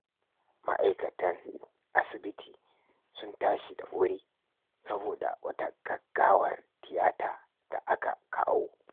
Ma'aikatan asibiti sun tashi da wuri saboda wata gaggawar tiyata da aka kawo.